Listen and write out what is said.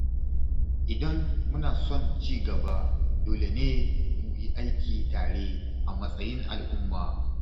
Idan muna son ci gaba, dole ne mu yi aiki tare a matsayin al’umma.